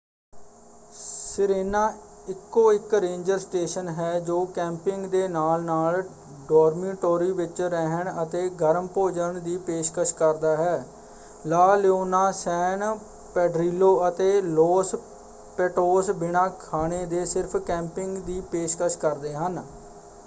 Sirena ਇਕੋ ਇਕ ranger station ਹੈ ਜੋ ਕੈਂਪਿੰਗ ਦੇ ਨਾਲ-ਨਾਲ ਡੋਰਮੀਟੋਰੀ ਵਿੱਚ ਰਹਿਣ ਅਤੇ ਗਰਮ ਭੋਜਨ ਦੀ ਪੇਸ਼ਕਸ਼ ਕਰਦਾ ਹੈ। ਲਾ ਲਿਓਨਾ ਸੈਨ ਪੇਡਰਿਲੋ ਅਤੇ ਲੌਸ ਪੈਟੋਸ ਬਿਨਾਂ ਖਾਣੇ ਦੇ ਸਿਰਫ਼ ਕੈਂਪਿੰਗ ਦੀ ਪੇਸ਼ਕਸ਼ ਕਰਦੇ ਹਨ।